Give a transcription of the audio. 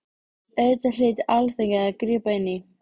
Auðvitað hlyti Alþingi að grípa inn í.